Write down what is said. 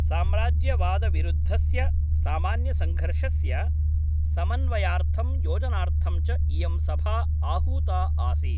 साम्राज्यवादविरुद्धस्य सामान्यसङ्घर्षस्य समन्वयार्थं योजनार्थं च इयं सभा आहूता आसीत्।